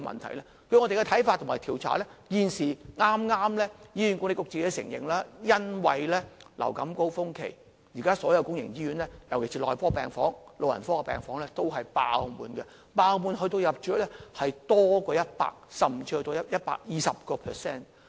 根據我們的看法和調查，醫管局剛承認，因為流感高峰期，現時所有公營醫院，尤其是內科病房、老人科病房也是爆滿的，爆滿的程度，是入住率超過 100%， 甚至達到 120%。